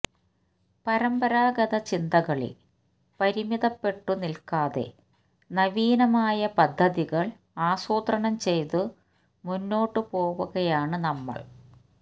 പരമ്പരാഗത ചിന്തകളിൽ പരിമിതപ്പെട്ടു നിൽക്കാതെ നവീനമായ പദ്ധതികൾ ആസൂത്രണം ചെയ്തു മുമ്പോട്ടു പോവുകയാണ് നമ്മൾ